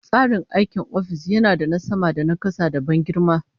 Tsarin aikin ofis yana da na sama da na kasa, da ban girma